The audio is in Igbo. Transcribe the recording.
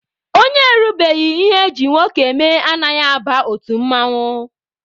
Onye erubeghi ihe eji nwoke eme anaghị aba otu mmanwụ.